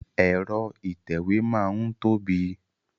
Ẹ̀rọ ìtẹ̀wé máa n tóbi.